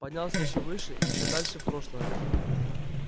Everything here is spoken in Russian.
поднялся ещё выше ещё дальше в прошлое